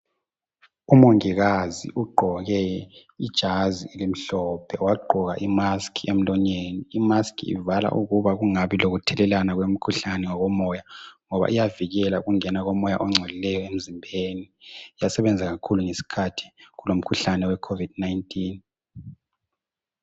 Umongikazi ugqoke ijazi elimhlophe. Wagqoka imask emlonyeni. Imask ivala ukuba kungabi lokuthelelana, kwemikhuhlane ngokomoya, ngoba iyavikela ukungena komoya ongcolileyo emzimbeni.. Yasebenza kakhulu ngesikhathi, kulomkhuhlane, wecovid 19.